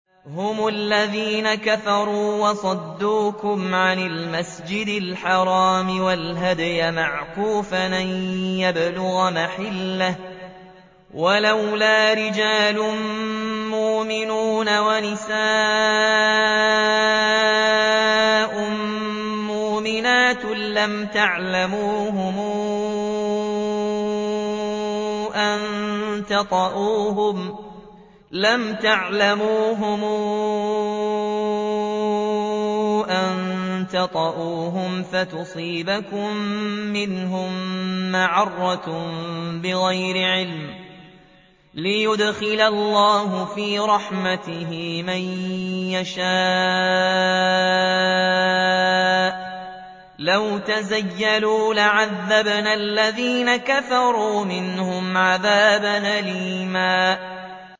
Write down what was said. هُمُ الَّذِينَ كَفَرُوا وَصَدُّوكُمْ عَنِ الْمَسْجِدِ الْحَرَامِ وَالْهَدْيَ مَعْكُوفًا أَن يَبْلُغَ مَحِلَّهُ ۚ وَلَوْلَا رِجَالٌ مُّؤْمِنُونَ وَنِسَاءٌ مُّؤْمِنَاتٌ لَّمْ تَعْلَمُوهُمْ أَن تَطَئُوهُمْ فَتُصِيبَكُم مِّنْهُم مَّعَرَّةٌ بِغَيْرِ عِلْمٍ ۖ لِّيُدْخِلَ اللَّهُ فِي رَحْمَتِهِ مَن يَشَاءُ ۚ لَوْ تَزَيَّلُوا لَعَذَّبْنَا الَّذِينَ كَفَرُوا مِنْهُمْ عَذَابًا أَلِيمًا